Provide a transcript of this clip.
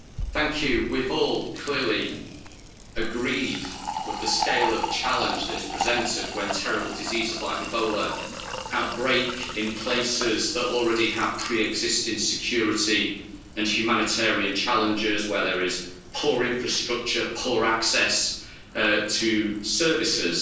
Madam President, we've all clearly agreed with the scale of the challenge that is presented when terrible diseases like Ebola break out in places that already have pre-existing security and humanitarian challenges, where there is poor infrastructure and poor access to services